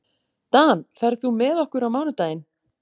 Dan, ferð þú með okkur á mánudaginn?